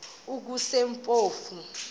kusempofu